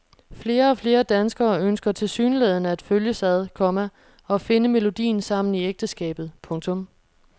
Flere og flere danskere ønsker tilsyneladende at følges ad, komma og finde melodien sammen i ægteskabet. punktum